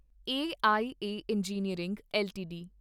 AIA engineering LTD